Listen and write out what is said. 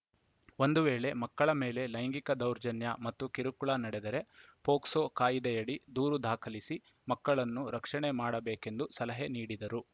ಒಂದು ವೇಳೆ ಮಕ್ಕಳ ಮೇಲೆ ಲೈಂಗಿಕ ದೌರ್ಜನ್ಯ ಮತ್ತು ಕಿರುಕುಳ ನಡೆದರೆ ಪೋಕ್ಸೋ ಕಾಯಿದೆಯಡಿ ದೂರು ದಾಖಲಿಸಿ ಮಕ್ಕಳನ್ನು ರಕ್ಷಣೆ ಮಾಡಬೇಕೆಂದು ಸಲಹೆ ನೀಡಿದರು